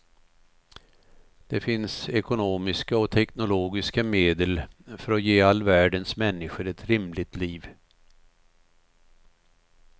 Det finns ekonomiska och teknologiska medel för att ge all världens människor ett rimligt liv.